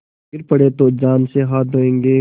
गिर पड़े तो जान से हाथ धोयेंगे